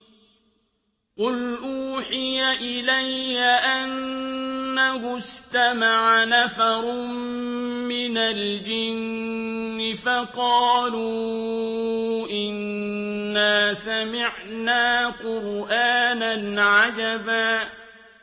قُلْ أُوحِيَ إِلَيَّ أَنَّهُ اسْتَمَعَ نَفَرٌ مِّنَ الْجِنِّ فَقَالُوا إِنَّا سَمِعْنَا قُرْآنًا عَجَبًا